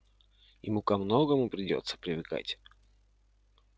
ему ко многому придётся привыкать